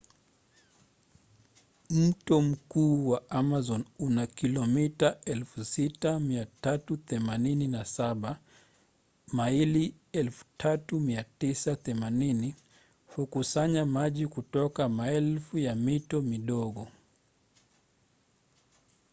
mto mkuu wa amazon una kilomita 6,387 maili 3,980. hukusanya maji kutoka maelfu ya mito midogo